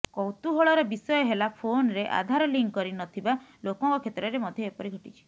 କୌତୁହଳର ବିଷୟ ହେଲା ଫୋନରେ ଆଧାର ଲିଙ୍କ କରି ନ ଥିବା ଲୋକଙ୍କ କ୍ଷେତ୍ରରେ ମଧ୍ୟ ଏପରି ଘଟିଛି